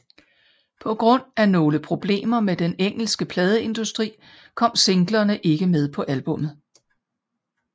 På grund af nogle problemer med den engelske pladeindustri kom singlerne ikke med på albummet